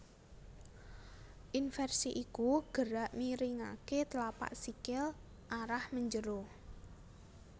Inversi iku gerak miringaké tlapak sikil arah menjero